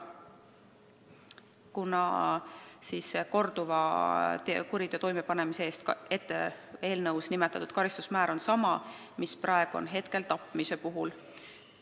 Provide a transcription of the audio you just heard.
Nimelt on sellise korduva kuriteo toimepanemise eest eelnõus pakutud karistusmäär sama, mis tapmise eest.